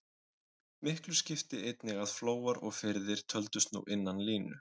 Miklu skipti einnig að flóar og firðir töldust nú innan línu.